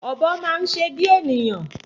Ọ̀bọ máa ń se bí ènìyàn